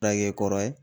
Tage kɔrɔ ye